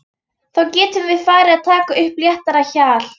Þá getum við farið að taka upp léttara hjal!